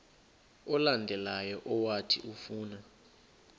olandelayo owathi ufuna